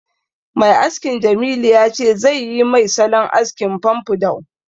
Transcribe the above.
Mai askin Jamilu ya ce zai yi mai salon askin famfadou